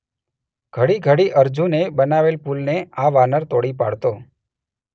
ઘડી ઘડી અર્જુને બનાવેલ પુલને આ વાનર તોડી પાડતો.